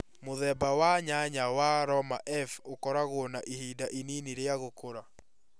Mũthemba wa nyanya wa Roma F ũkoragũo na ihinda inini rĩa gũkũra.